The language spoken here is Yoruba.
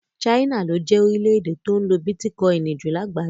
China ló jẹ́ lórílẹ̀ èdè tó ń lo bitikọini jù lágbàáyé.